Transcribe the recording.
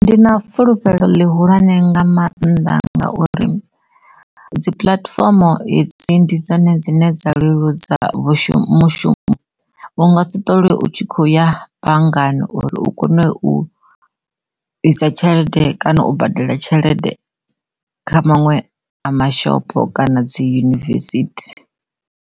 Ndi na fulufhelo ḽihulwane nga mannḓa ngauri dzi puḽatifomo hidzi ndi dzone dzine dza leludza mushumo u nga si ṱolwe u tshi kho u ya banngani uri u kone u isa tshelede kana u badela tshelede kha maṅwe mashopo kana dzi yunivesithi.